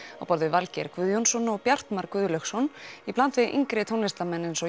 á borð við Valgeir Guðjónsson og Bjartmar Guðlaugsson í bland við yngri tónlistarmenn eins og